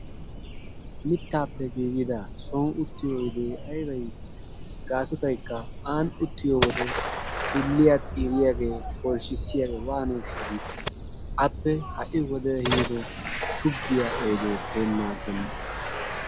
Mittaappe giigida soni uttiyo oydee aybay gaasotaykka aani uttiyobl wode dulliya xiiriyagee tolshshisiyaagee waanooshsha giissees. Appe ha'i wode ehiido shuggiya oydee kehennan aggenna.